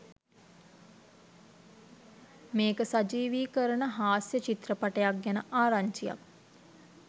මේක සජීවීකරණ හාස්‍ය චිත්‍රපටයක් ගැන ආරංචියක්.